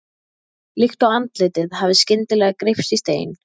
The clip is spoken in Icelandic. Líkt og andlitið hafi skyndilega greypst í stein.